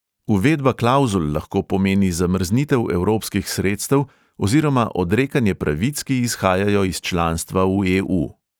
Uvedba klavzul lahko pomeni zamrznitev evropskih sredstev oziroma odrekanje pravic, ki izhajajo iz članstva v e|u.